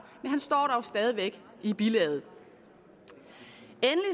men han står dog stadig væk i bilaget